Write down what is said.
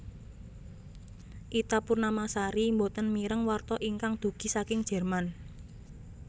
Ita Purnamasari mboten mireng warta ingkang dugi saking Jerman